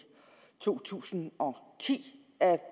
to tusind og ti